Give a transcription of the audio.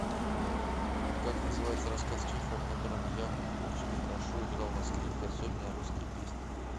как называется рассказ чехова в котором яков очень хорошо играл на скрипке особенно русские песни